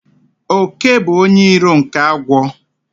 Òké bụ onye iro nke agwọ